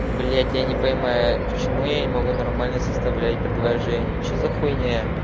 блять я не понимаю почему я не могу нормально составлять предложение что за хуйня